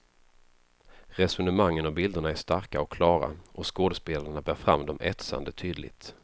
Resonemangen och bilderna är starka och klara och skådespelarna bär fram dem etsande tydligt.